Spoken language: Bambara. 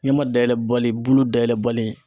Ɲɛma dayɛlɛ bali bulu dayɛlɛli